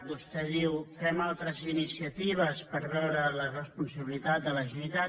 vostè diu fem altres iniciatives per veure’n la responsabilitat de la generalitat